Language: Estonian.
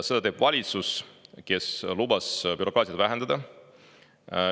Seda teeb valitsus, kes lubas bürokraatiat vähendada.